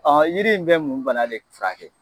Ɔnhɔn, yiri in bɛ mun bana de furakɛ?